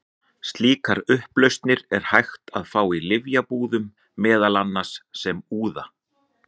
Slíkar upplausnir er hægt að fá í lyfjabúðum, meðal annars sem úða.